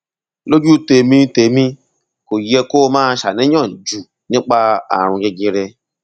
lójú tèmi tèmi kò yẹ kó o máa ṣàníyàn jù nípa ààrùn jẹjẹrẹ